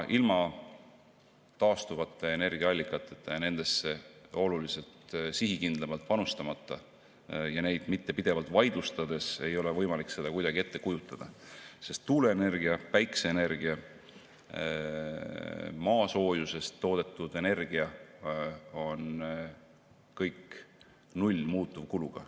Ilma taastuvate energiaallikateta ja nendesse oluliselt sihikindlamalt panustamata, neid mitte pidevalt vaidlustades, ei ole aga võimalik seda kuidagi ette kujutada, sest tuuleenergia, päikeseenergia ja maasoojusest toodetud energia on kõik null muutuvkuluga.